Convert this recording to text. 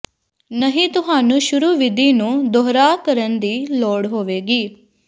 ਨਹੀ ਤੁਹਾਨੂੰ ਸ਼ੁਰੂ ਵਿਧੀ ਨੂੰ ਦੁਹਰਾ ਕਰਨ ਦੀ ਲੋੜ ਹੋਵੇਗੀ